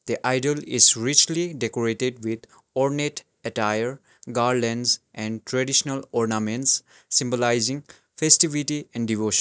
the idol is richly decorated with ornate attire garlands and traditional ornaments symbolising festivity and devotio --